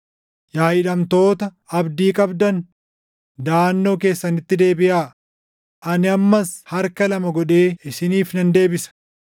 Yaa hidhamtoota abdii qabdan, daʼannoo keessanitti deebiʼaa; ani ammas harka lama godhee isiniif nan deebisa.